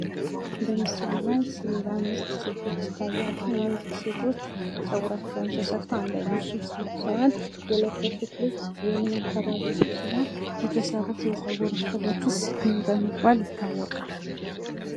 በምስሉ ላይ አምስት ሴቶች ይታያሉ ።እነዚህ ሴቶች ፀጉራቸውን ተሰርተው ፤አንድ አይነት ልብስ ለብሰዋል። የለበሱት ልብስ የምን አካባቢ ልብስ ነው ?የተሰሩት የፀጉር ስሬትስ ምን በመባል ይታወቃል ?